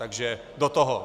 Takže do toho.